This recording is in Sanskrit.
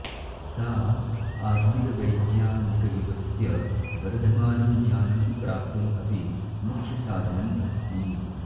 सा आधुनिकवैज्ञानिकयुगस्य वर्धमानं ज्ञानं प्राप्तुम् अपि मुख्यसाधनम् अस्ति